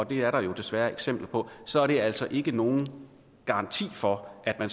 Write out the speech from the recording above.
det er der jo desværre eksempler på så er det altså ikke nogen garanti for at